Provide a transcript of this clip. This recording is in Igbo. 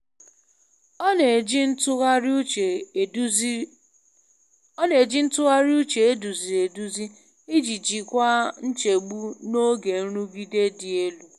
Ọ na-eji ntụgharị uche eduziri eduzi iji jikwaa nchegbu n'oge nrụgide dị elu.